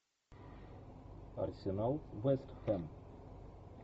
арсенал вест хэм